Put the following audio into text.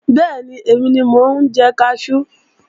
Bẹ́ẹ̀ni, èmi ni mo ń jẹ kaṣú